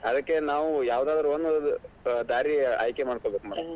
ಅದಕೆ ನಾವು ಯಾವದಾದ್ರು ಒಂದ್ ದಾರಿ ಆಯ್ಕೆ ಮಾಡ್ಕೋಬೇಕ್ madam .